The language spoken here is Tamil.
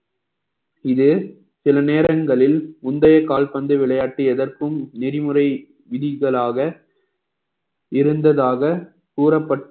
இது, சில நேரங்களில் முந்தைய கால்பந்து விளையாட்டு எதற்கும் நெறிமுறை விதிகளாக இருந்ததாக கூறப்பட்~